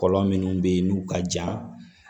Kɔlɔn minnu bɛ yen n'u ka jan